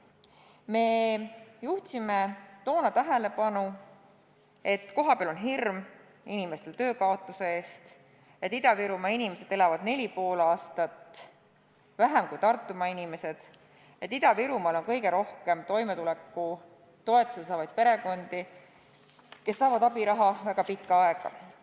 Me juhtisime toona tähelepanu järgmisele: kohapeal on inimestel hirm töö kaotamise ees, Ida-Virumaa inimesed elavad neli ja pool aastat vähem kui Tartumaa inimesed ning Ida-Virumaal on kõige rohkem toimetulekutoetust saavaid perekondi, kes saavad abiraha väga pikka aega.